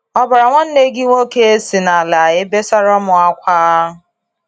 Ọbara nwanne gị nwoke si nala ebesara mụ ákwá.